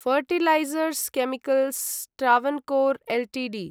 fertilisers chemicals Travancore Ltd